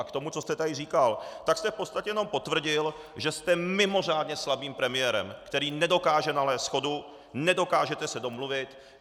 A k tomu, co jste tady říkal, tak jste v podstatě jenom potvrdil, že jste mimořádně slabým premiérem, který nedokáže nalézt shodu, nedokážete se domluvit.